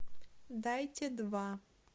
дайте два